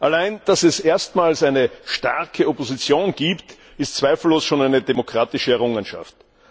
Allein, dass es erstmals eine starke Opposition gibt, ist zweifellos schon eine demokratische Errungenschaft.